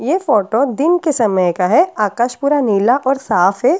ये फोटो दिन के समय का है। आकाश पूरा नीला और साफ है।